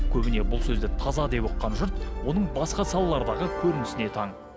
көбіне бұл сөзді таза деп ұққан жұрт оның басқа салалардағы көрінісіне таң